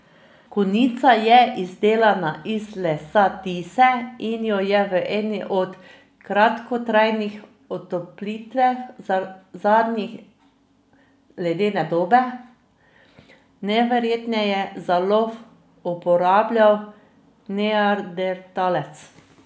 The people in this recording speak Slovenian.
Konica je izdelana iz lesa tise in jo je v eni od kratkotrajnih otoplitev zadnje ledene dobe najverjetneje za lov uporabljal neandertalec.